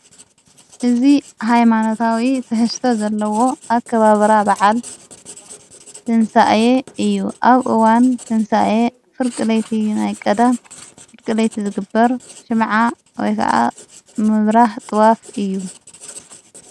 እዝ ኃይማኖታዊ ተሕስተ ዘለዎ ኣከባብራ በዓል ተንሣእየ እዩ ኣብእዋን ተንሣእየ ፍርቂ ለይቲ ናይ ቀዳ ፍርቂለይቲ ዝግበር ሽምዓ ወይ ከዓ ምብራህ ጥዋፍ እዩ።